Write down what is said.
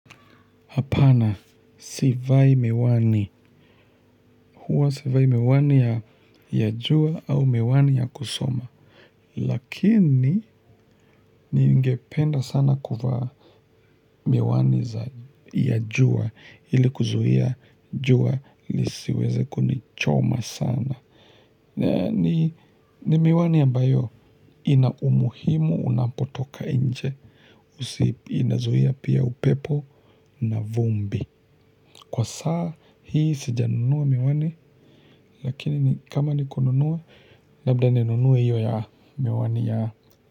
Apana, sivai miwani, huwa sivai miwani ya yajua au miwani ya kusoma, lakini ningependa sana kuvaa miwani ya yajua ili kuzuhia jua li siweze kunichoma sana. Ni miwani ambayo ina umuhimu unapotoka nje. Inazuhia pia upepo na vumbi. Kwa saa hii sija nunua miwani. Lakini kama nikununua labda ni nunue hiyo ya miwani ya.